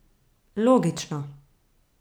Logično.